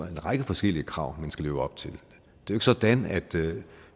en række forskellige krav man skal leve op til det er sådan at